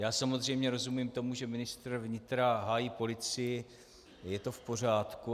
Já samozřejmě rozumím tomu, že ministr vnitra hájí policii, to je v pořádku.